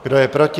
Kdo je proti?